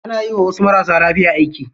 Ana yiwa wasu marasa lafiya aiki.